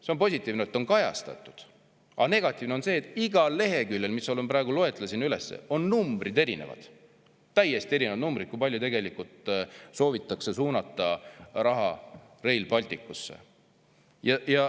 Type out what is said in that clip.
See on positiivne, et seda on kajastatud, aga negatiivne on see, et igal leheküljel, mida ma praegu loetlesin, on erinevad numbrid, täiesti erinevad numbrid selle kohta, kui palju tegelikult soovitakse suunata raha Rail Balticusse.